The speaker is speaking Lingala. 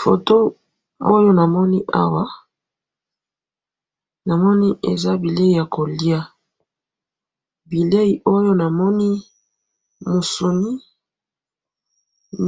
photo oyo namoni awa namoni ezabilei yakolia bileyi oyo namoni musunyi